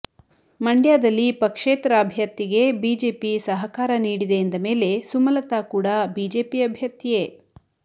ಮಂಡ್ಯದಲ್ಲಿ ಪಕ್ಷೇತರ ಅಭ್ಯರ್ಥಿಗೆ ಬಿಜೆಪಿ ಸಹಕಾರ ನೀಡಿದೆ ಎಂದಮೇಲೆ ಸುಮಲತಾ ಕೂಡ ಬಿಜೆಪಿ ಅಭ್ಯರ್ಥಿಯೇ